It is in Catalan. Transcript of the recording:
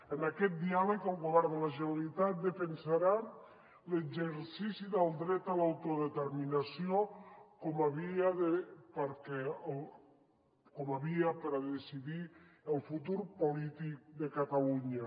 en aquest diàleg el govern de la generalitat defensarà l’exercici del dret a l’autodeterminació com a via per decidir el futur polític de catalunya